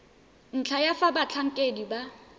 ntlha ya fa batlhankedi ba